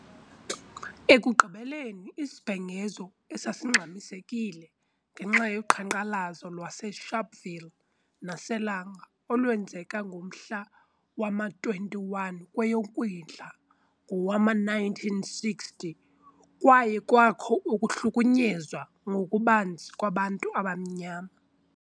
Ekugqibeleni, isibhengezo esasingxamisekile ngenxa yoqhankqalazo lwase Sharpeville nase Langa olwenzeka ngomhla wama 21 kweyoKwindla ngowama-1960, kwaye kwakho ukuhlukunyezwa ngokubanzi kwabantu abamnyama.